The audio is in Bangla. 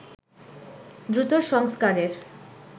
দ্রুত সংস্কারের